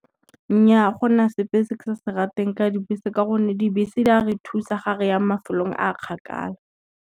Nnyaa gona sepe se ke sa se rateng ka dibese, ka gonne dibese di a re thusa ga re ya mafelong a kgakala.